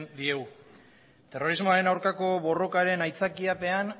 diegu terrorismoaren aurkako borrokaren aitzakiapean